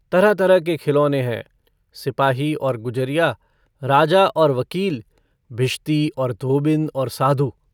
तरह-तरह के खिलौने हैं - सिपाही और गुजरिया, राजा और वकील, भिश्ती और धोबिन, और साधु।